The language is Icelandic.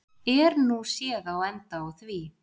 Er nú séð á enda á því.